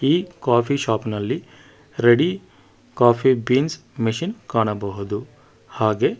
ಈ coffee shop ನಲ್ಲಿ ready coffee beans machine ಕಾಣಬಹುದು ಹಾಗೇ--